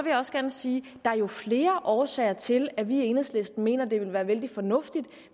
jeg også gerne sige at der jo er flere årsager til at vi i enhedslisten mener det ville være vældig fornuftigt